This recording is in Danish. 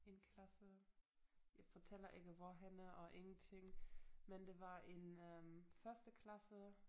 En klasse jeg fortæller ikke hvorhenne og ingenting men det var en øh førsteklasse